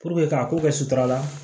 k'a ko kɛ sutara la